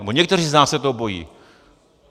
Nebo někteří z nás se toho bojí.